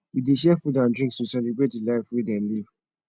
we dey share food and drinks to celebrate di life wey dem live